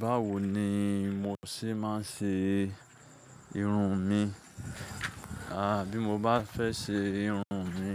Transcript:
Báwo ni mo ṣé máa ń ṣe irun mi? Bí mo bá fẹ́ ṣe irun mi,